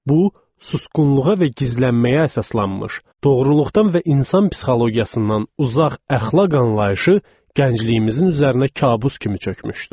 Bu susqunluğa və gizlənməyə əsaslanmış, doğruluqdan və insan psixologiyasından uzaq əxlaq anlayışı gəncliyimizin üzərinə kabus kimi çökmüşdü.